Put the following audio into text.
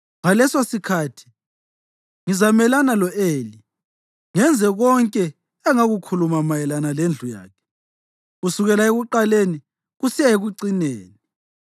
Ngalesosikhathi ngizamelana lo-Eli, ngenze konke engakukhuluma mayelana lendlu yakhe kusukela ekuqaleni kusiya ekucineni.